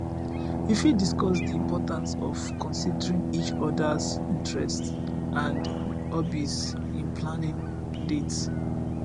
you fit discuss di importance of considerng each odas interests and hobbies in planning dates